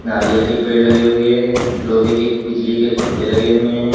नारियल के पेड़ लगे हुए हैं। लोहे के बिजली के खंबे लगे हुए हैं।